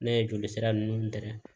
Ne ye joli sira ninnu gɛrɛ